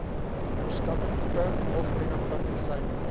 verskaffertipe algemene praktisyn